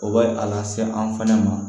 O b'a a lase an fɛnɛ ma